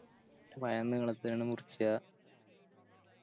പയം നീളത്തിലങ്ങട് മുറിച്ച